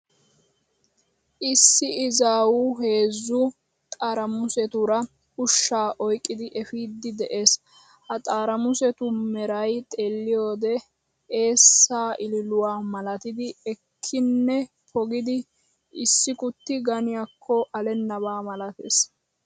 Issi izaawu heezzu xarimusetuura ushshaa oyqqidi efiiddi de'ees. Ha xarimusetu mray xeelliyo wode eessaa ililuwaa malatidi, ekkinnne pogidi issikutti ganiyaakko alennabaa malatees.